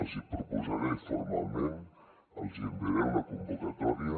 els hi proposaré formalment els hi enviaré una convocatòria